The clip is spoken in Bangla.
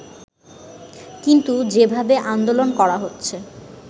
কিন্তু যেভাবে আন্দোলন করা হচ্ছে